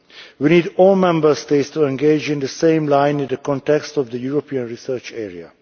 We need all Member States to engage in the same line in the context of the European Research Area.